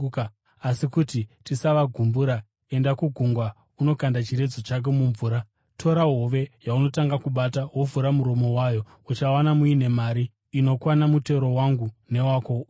Asi kuti tisavagumbura enda kugungwa unokanda chiredzo chako mumvura. Tora hove yaunotanga kubata, wovhura muromo wayo, uchawana muine mari inokwana mutero wangu newako, uvape.”